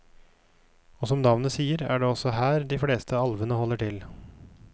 Og som navnet sier er det også her de fleste alvene holder til.